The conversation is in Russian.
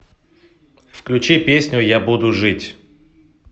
включи песню я буду жить